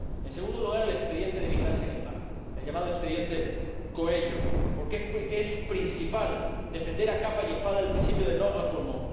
En segundo lugar, el expediente de vigilancia en el mar, el llamado expediente Coelho, porque es fundamental defender a capa y espada el principio de non refoulement